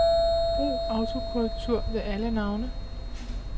Brug autokorrektur ved alle navne.